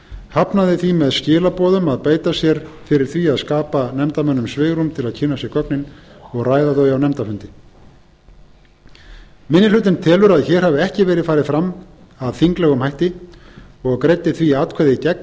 hafnaði því með skilaboðum að beita sér fyrir því að skapa nefndarmönnum svigrúm til að kynna sér gögnin og ræða þau á nefndarfundi minni hlutinn telur að hér hafi ekki verið farið fram að þinglegum hætti og greiddi því atkvæði gegn